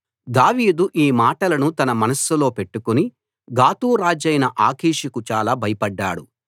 దావీదు ఈ మాటలను తన మనస్సులో పెట్టుకుని గాతు రాజైన ఆకీషుకు చాలా భయపడ్డాడు